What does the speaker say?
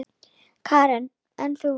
Karen: En þú?